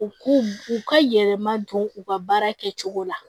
U k'u u ka yɛlɛma don u ka baara kɛcogo la